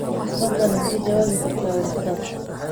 fadlan ma ka jawaabi kartaa warqadaas